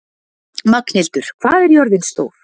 Magnhildur, hvað er jörðin stór?